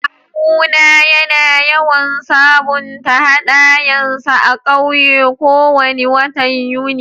Kawu na yana yawan sabunta hadayan sa a'ƙauye ko wani watan Yuni.